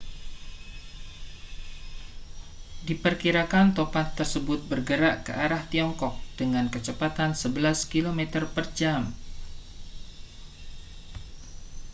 diperkirakan topan tersebut bergerak ke arah tiongkok dengan kecepatan sebelas kilometer per jam